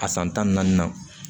A san tan ni naani na